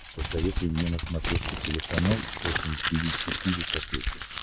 посоветуй мне на смотрешке телеканал фэшн ти ви четыре ка